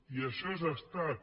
i això és estat